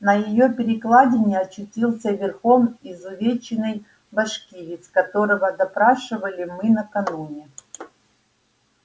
на её перекладине очутился верхом изувеченный башкирец которого допрашивали мы накануне